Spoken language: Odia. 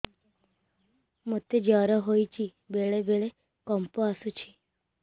ମୋତେ ଜ୍ୱର ହେଇଚି ବେଳେ ବେଳେ କମ୍ପ ଆସୁଛି